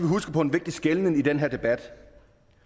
huske på en vigtig skelnen i den her debat